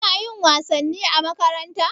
Kuna yin wasanni a makaranta?